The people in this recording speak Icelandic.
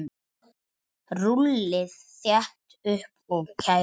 Rúllið þétt upp og kælið.